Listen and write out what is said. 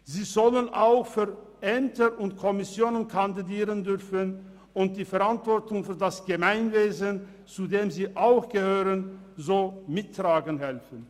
Sie sollen auch für Ämter und Kommissionen kandidieren dürfen und so die Verantwortung für das Gemeinwesen, zu dem sie auch gehören, mittragen helfen.